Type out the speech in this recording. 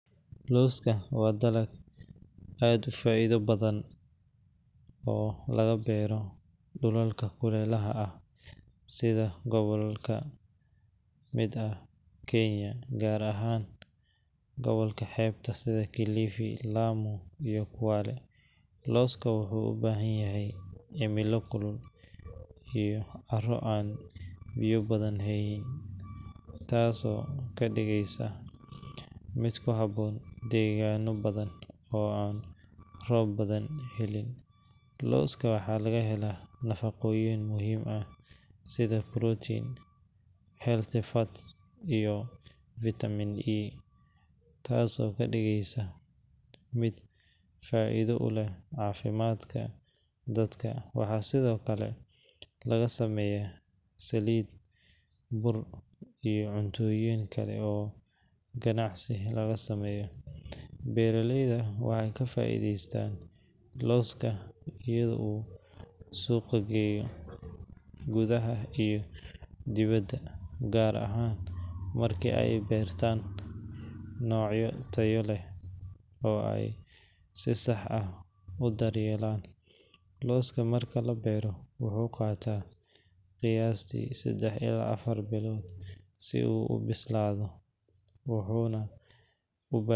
Looska waa dalag aad u faa’iido badan oo laga beero dhulalka kulaylaha sida gobollo ka mid ah Kenya, gaar ahaan gobolka xeebta sida Kilifi, Lamu iyo Kwale. Looska wuxuu u baahan yahay cimilo kulul iyo carro aan biyo badan haynin, taasoo ka dhigaysa mid ku habboon deegaanno badan oo aan roob badan helin. Looska waxaa laga helaa nafaqooyin muhiim ah sida protein, healthy fats, iyo vitamin E, taasoo ka dhigaysa mid faa’iido u leh caafimaadka dadka. Waxaa sidoo kale laga sameeyaa saliid, bur, iyo cuntooyin kale oo ganacsi laga sameeyo. Beeraleydu waxay ka faa’iidaystaan looska iyagoo u suuq geeya gudaha iyo dibedda, gaar ahaan markii ay beertaan noocyo tayo leh oo ay si sax ah u daryeelaan. Looska marka la beero wuxuu qaataa qiyaastii seddex ilaa afar bilood si uu u bislaado, wuxuuna u.